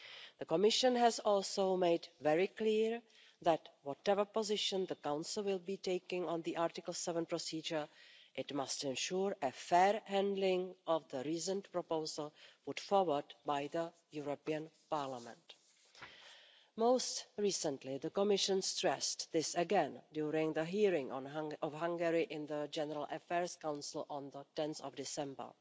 The Commission has also made very clear that, whatever position the Council will be taking on the Article 7 procedure, it must ensure a fair handling of the reasoned proposal put forward by the European Parliament. Most recently, the Commission stressed this again during the hearing of Hungary in the General Affairs Council on 10 December.